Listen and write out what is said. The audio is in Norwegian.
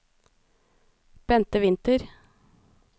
Bente Winther